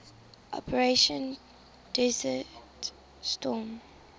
operation desert storm